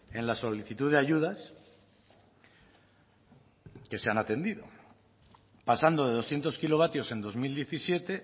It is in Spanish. en la solicitud de ayudas que se han atendido pasando de doscientos kilovatios en dos mil diecisiete